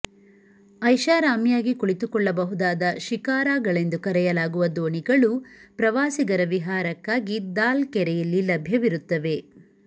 ಐಶಾರಾಮಿಯಾಗಿ ಕುಳಿತುಕೊಳ್ಳಬಹುದಾದ ಶಿಕಾರಾಗಳೆಂದು ಕರೆಯಲಾಗುವ ದೋಣಿಗಳು ಪ್ರವಾಸಿಗರ ವಿಹಾರಕ್ಕಾಗಿ ದಾಲ್ ಕೆರೆಯಲ್ಲಿ ಲಭ್ಯವಿರುತ್ತವೆ